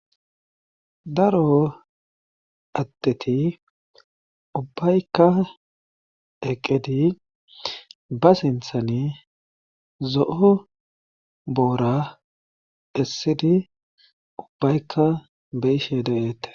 Daro adteti ubbaykka eqqedi ba sinthani zo7o boora essidi ubbaykka beishe de7eette.